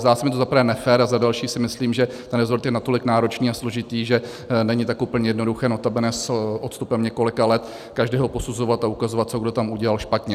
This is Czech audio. Zdá se mi to za prvé nefér a za další si myslím, že ten resort je natolik náročný a složitý, že není tak úplně jednoduché, notabene s odstupem několika let, každého posuzovat a ukazovat, co kdo tam udělal špatně.